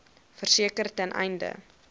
verseker ten einde